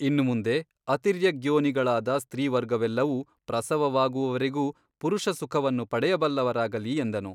ಇನ್ನು ಮುಂದೆ ಅತಿರ್ಯಗ್ಯೋನಿಗಳಾದ ಸ್ತ್ರೀವರ್ಗವೆಲ್ಲವೂ ಪ್ರಸವವಾಗುವವರೆಗೂ ಪುರುಷ ಸುಖವನ್ನು ಪಡೆಯಬಲ್ಲವರಾಗಲಿ ಎಂದನು.